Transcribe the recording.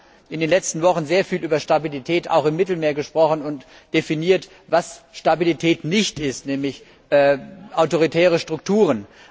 Wir haben in den letzten Wochen sehr viel über Stabilität auch im Mittelmeerraum gesprochen und definiert, was Stabilität nicht ist, nämlich autoritäre Strukturen.